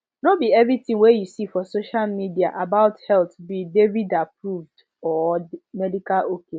no be everything wey you see for social media about health be davidapproved or medical ok